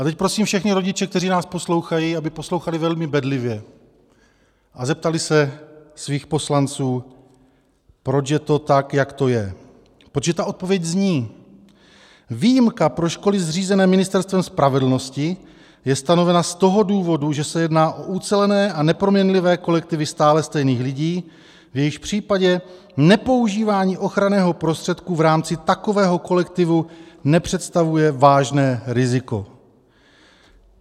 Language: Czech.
A teď prosím všechny rodiče, kteří nás poslouchají, aby poslouchali velmi bedlivě a zeptali se svých poslanců, proč je to tak jak to je, protože ta odpověď zní: Výjimka pro školy zřízené Ministerstvem spravedlnosti je stanovena z toho důvodu, že se jedná o ucelené a neproměnlivé kolektivy stále stejných lidí, v jejichž případě nepoužívání ochranného prostředku v rámci takového kolektivu nepředstavuje vážné riziko.